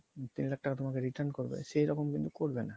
তিন লাখ টাকা তোমাকে return করবে, সেরকম কিন্তু করবে না